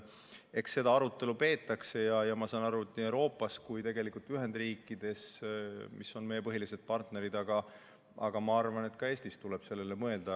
Eks seda arutelu peetakse nii Euroopas kui tegelikult ka Ühendriikides, mis on meie põhilised partnerid, aga ma arvan, et ka Eestis tuleb sellele mõelda.